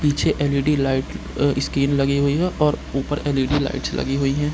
पीछे LED. Light आ screen लगी हुई है और ऊपर एल.ई.डी. लाइट्स लगी हुई है।